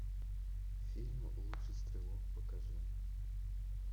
фильм лучший стрелок покажи